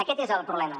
aquest és el problema